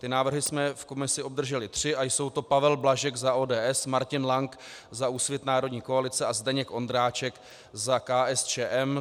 Ty návrhy jsme v komisi obdrželi tři a jsou to: Pavel Blažek za ODS, Martin Lank za Úsvit - Národní koalice a Zdeněk Ondráček za KSČM.